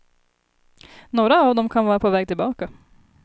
Några av dem kan vara på väg tillbaka.